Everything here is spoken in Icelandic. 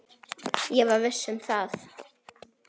Ég var viss um það.